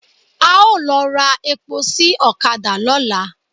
A ó lọ ra epo sí ọ̀kadà lọ́la.